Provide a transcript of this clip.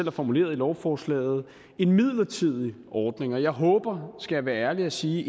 er formuleret i lovforslaget en midlertidig ordning og jeg skal være ærlig og sige